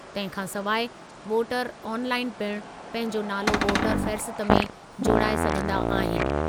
तंहिं खां सवाइ वोटर आनलाइन पिण पंहिंजो नालो वोटर फ़हरिस्त में जोड़ाए सघंदा आहिनि।